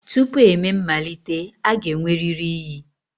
Tupu emee mmalite, a ga-enwerịrị iyi.